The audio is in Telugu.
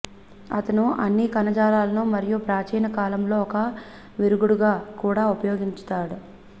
అతను అన్ని కణజాలాలను మరియు ప్రాచీన కాలంలో ఒక విరుగుడుగా కూడా ఉపయోగించాడు